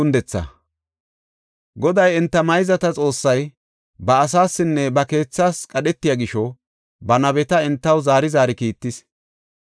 Goday, enta mayzata Xoossay ba asaasinne ba keethas qadhetiya gisho, ba nabeta entaw zaari zaari kiittis.